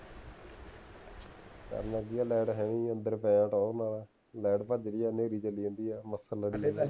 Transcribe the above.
ਕਰਨਾ ਕਿ ਹੈ ਮੈਂ ਤਾਂ ਹੁਣ ਵੀ ਅੰਦਰ ਪਿਆ ਟੌਰ ਨਾਲ ਲੇਟ ਭੱਜ ਗਈ ਹੈ ਨਹਿਰੀ ਚੱਲੀ ਜਾਂਦੀ ਹੈ ਮੱਛਰ ਲੜੀ ਜਾਂਦੇ